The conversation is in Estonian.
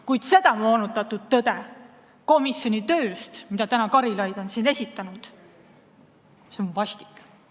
Kuid see moonutatud tõde komisjoni tööst, mida täna on Karilaid siin esitanud, on vastik.